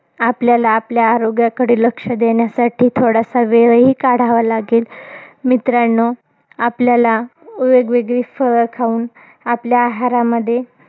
आपल्याला आपल्या आरोग्याकडे लक्ष देण्यासाठी, थोडासा वेळही काढावा लागेल. मित्रांनो, आपल्याला वेगवेगळी फळं खाऊन, आपल्या आहारामध्ये,